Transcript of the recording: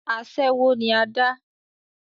asẹ́wó ni adá